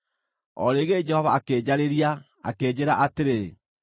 O rĩngĩ Jehova akĩnjarĩria, akĩnjĩĩra atĩrĩ: